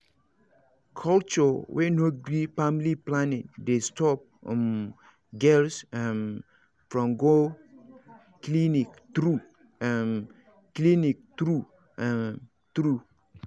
culture wey no gree family planning dey stop um girls um from go clinic true um clinic true um true